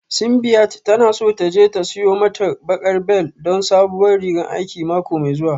Simbiat tana so ta je ta siyo mata baƙar bel don sabuwar rigan aiki mako mai zuwa